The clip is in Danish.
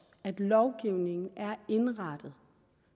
at lovgivningen er indrettet